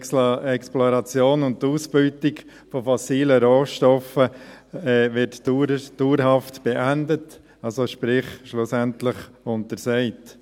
Die Exploration und die Ausbeutung von fossilen Rohstoffen wird dauerhaft beendet, sprich schlussendlich untersagt.